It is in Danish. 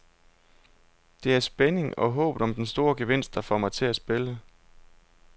Det er spændingen og håbet om den store gevinst, der får mig til at spille.